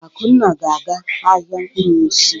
Akunna ga-aga ahịa mkpụrụ osisi.